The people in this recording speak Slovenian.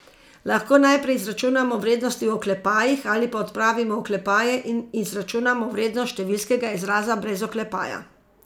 Lahko najprej izračunamo vrednosti v oklepajih ali pa odpravimo oklepaje in izračunamo vrednost številskega izraza brez oklepaja.